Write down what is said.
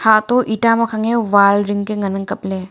atoh eta mangkhange wall ringka ngan ang kopley.